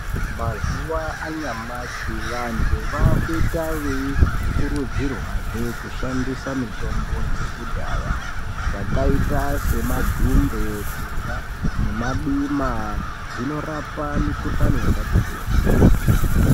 Mazuwa anyamashi vantu vakuita veikurudzirwazve kushandisa mitombo dzekudhaya, dzakaita semadhumbe nemadima. Dzinorapa mikuhlani yakati kuti.